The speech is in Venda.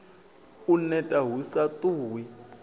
u neta hu sa ṱuwi